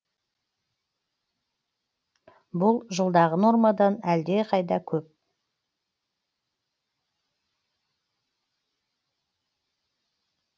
бұл жылдағы нормадан әлдеқайда көп